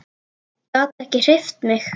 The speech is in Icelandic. Gat ekki hreyft sig.